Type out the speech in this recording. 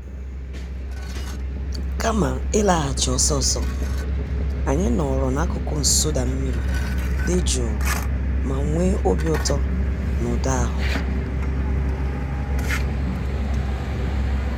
Kama ịlaghachi ọsọ ọsọ, anyị nọọrọ n'akụkụ nsụda mmiri dị jụụ ma nwee obi ụtọ na ụda ahụ.